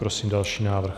Prosím další návrh.